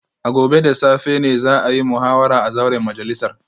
A gobe da safe ne za a yi muhawara a zauren majalisar